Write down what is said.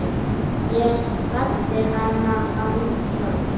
Ég kvaddi hana þá.